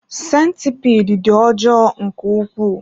Sentipiid dị ọjọọ nke ukwuu.